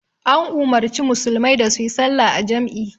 An umarci musulmai da su yi sallah a jam'i